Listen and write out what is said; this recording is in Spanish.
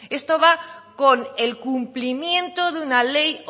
esto va con el cumplimiento de una ley